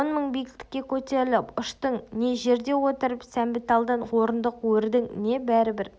он мың метр биіктікке көтеріліп ұштың не жерде отырып сәмбіталдан орындық өрдің не бәрібір